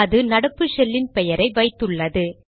அது நடப்பு ஷெல்லின் பெயரை வைத்துள்ளது